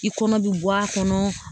I kɔnɔ bɛ bɔ a kɔnɔ